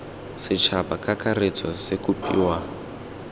setšhaba ka kakaretso se kopiwa